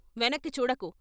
వెనక్కి చూడకు.